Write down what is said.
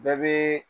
Bɛɛ bɛ